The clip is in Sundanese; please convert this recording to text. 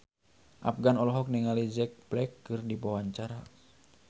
Afgan olohok ningali Jack Black keur diwawancara